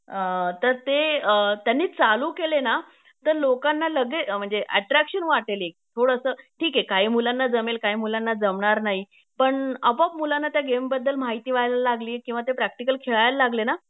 अ तर ते त्यांनी चालू केले ना तर लोकांना लगेच अ म्हणजे अट्रॅक्शन वाटेल एक थोडस ठीके काही मुलांना जमेल काही मुलांना जमणार नाही पण आपोआप मुलांना त्या गेमबद्दल माहिती व्हायला लागली किंवा ते प्रॅक्टिकल खेळायला लागले ना